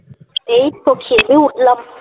এই তো খেতে উঠলাম